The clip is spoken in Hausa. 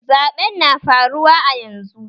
Zaɓen na faruwa a yanzu